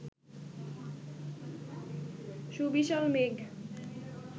সুবিশাল মেঘ